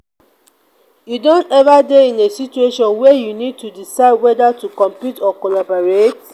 you don ever dey in a situation where you need to decide whether to compete or collaborate?